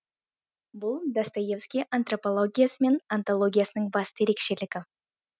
бұл достоевский антропологиясы мен онтологиясының басты ерекшелігі